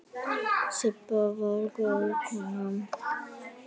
Sibba var góð kona.